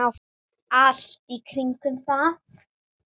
Allt í kringum það.